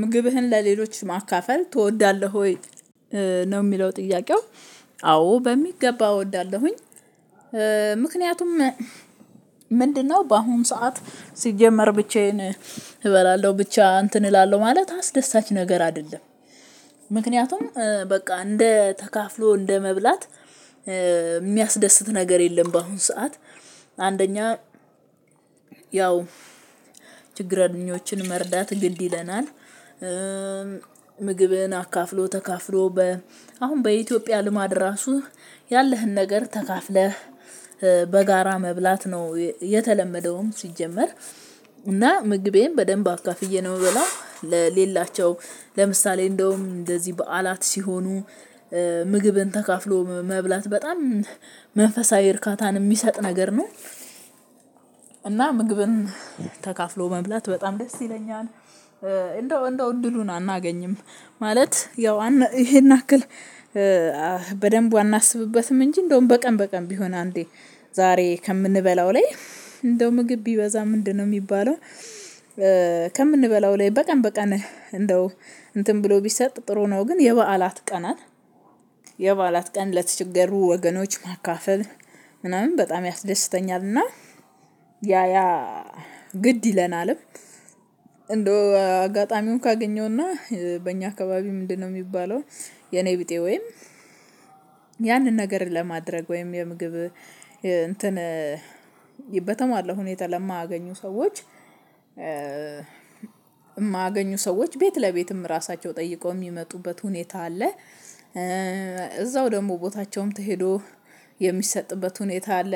ምግብህን ለሌሎች ማካፈል ትወዳለህ ወይ? ነው የሚለው ጥያቄው አዎ በሚገባ እወዳለሁኝ። ምክንያቱም ምንድነው? በአሁን ሰዓት ሲጀመር ብቻዬን እበላለሁ ብቻ እንትን እላለሁ ማለት አስደሳች ነገር አይደለም። ምክንያቱም በቃ እንደ ተካፍሎ እንደ መብላት የሚያስደስት ነገር የለም። በአሁን ሰዓት አንደኛ ያው ችግረኞችን መርዳት ግድ ይለናል። ምግብህን አካፍሎ ተካፍሎ በ አሁን በኢትዮጵያ ልማድ ራሱ ያለህን ነገር ተካፍለህ በጋራ መብላት ነው የተለመደውም ሲጀመር። እና ምግቤን በደንብ አካፍዬ ነው የምበላው ለሌላቸው ለምሳሌ እንደውም እንደዚህ በዓላት ሲሆኑ ምግብን ተካፍሎ መብላት በጣም መንፈሳዊ እርካታን የሚሰጥ ነገር ነው። እና ምግብን ተካፍሎ መብላት በጣም ደስ ይለኛል። እንደው እንደው እድሉን አናገኝም ማለት ያው ይሄን አክል በደንቡ አናስብበትም እንጂ እንደውም በቀን በቀን ቢሆን አንዴ ዛሬ ከምንበላው ላይ እንደው ምግብ ቢበዛ ምንድነው? የሚባለው ከምንበላው ላይ በቀን በቀን እንደው እንትን ብሎ ቢሰጥ ጥሩ ነው። ግን የበዓላት ቀንን የበዓላት ቀን ለተቸገሩ ወገኖች ማካፈል ምናምን በጣም ያስደስተኛልና። ያያ ግድ ይለናልም እንደው አጋጣሚውን ካገኘውና በእኛ አካባቢ ምንድነው? የሚባለው የኔቢጤ ወይም ያንን ነገር ለማድረግ ወይም የምግብ እንትን በተሟላ ሁኔታ ለማያገኙ ሰዎች የማያገኙ ሰዎች ቤት ለቤትም ራሳቸው ጠይቀው የሚመጡበት ሁኔታ አለ። እዛው ደግሞ ቦታቸውም ተሄዶ የሚሰጥበት ሁኔታ አለ።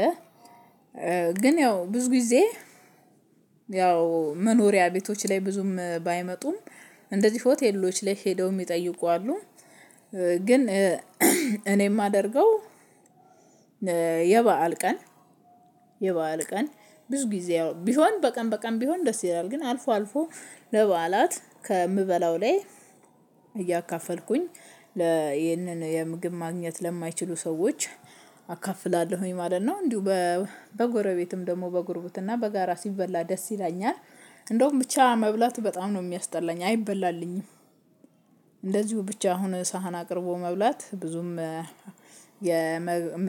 ግን ያው ብዙ ጊዜ ያው መኖሪያ ቤቶች ላይ ብዙም ባይመጡም እንደዚህ ሆቴሎች ላይ ሄደው የሚጠይቁ አሉ። ግን እኔ የማደርገው የበአል ቀን የበአል ቀን ብዙ ጊዜ ቢሆን በቀን በቀን ቢሆን ደስ ይላል ግን አልፎ አልፎ ለበዓላት ከምበላው ላይ እያካፈልኩኝ ለይህንን የምግብ ማግኘት ለማይችሉ ሰዎች አካፍላለሁኝ ማለት ነው። እንዲሁ በጎረቤትም ደግሞ በጉርብትና በጋራ ሲበላ ደስ ይለኛል እንደውም ብቻ መብላት በጣም ነው የሚያስጠላኝ አይበላልኝም። እንደዚሁ ብቻ አሁን ሳህን አቅርቦ መብላት ብዙም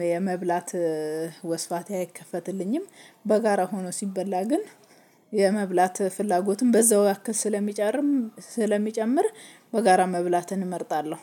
የመብላት ወስፋቴ አይከፈትልኝም። በጋራ ሆኖ ሲበላ ግን የመብላት ፍላጎትን በዛው ያክል ስለሚጨምር በጋራ መብላትን እመርጣለሁ